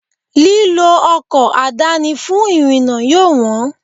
Lílọ ọkọ̀ àdáni fún ìrìnà yóò wọn.